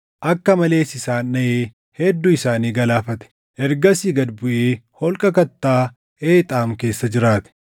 Akka malees isaan dhaʼee hedduu isaanii galaafate. Ergasii gad buʼee holqa kattaa Eexaam keessa jiraate.